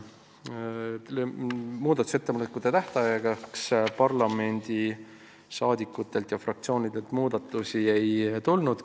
Muudatusettepanekute tähtajaks parlamendiliikmetelt ega fraktsioonidelt ettepanekuid ei tulnud.